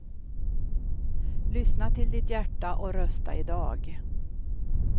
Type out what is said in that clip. Lyssna till ditt hjärta och rösta i dag.